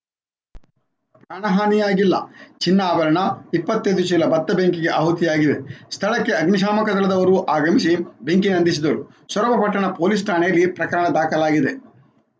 ಪ್ರಾಣಹಾನಿಯಾಗಿಲ್ಲ ಚಿನ್ನಾಭರಣ ಇಪ್ಪತ್ತ್ ಐದು ಚೀಲ ಭತ್ತ ಬೆಂಕಿಗೆ ಆಹುತಿಯಾಗಿವೆ ಸ್ಥಳಕ್ಕೆ ಅಗ್ನಿಶಾಮಕ ದಳದವರು ಆಗಮಿಸಿ ಬೆಂಕಿ ನಂದಿಸಿದರು ಸೊರಬ ಪಟ್ಟಣ ಪೊಲೀಸ್‌ ಠಾಣೆಯಲ್ಲಿ ಪ್ರಕರಣ ದಾಖಲಾಗಿದೆ